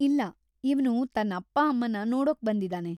ಇಲ್ಲ, ಇವ್ನು ತನ್‌ ಅಪ್ಪ-ಅಮ್ಮನ್ನ ನೋಡೋಕ್ಬಂದಿದಾನೆ.